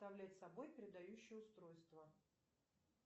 представляет собой передающее устройство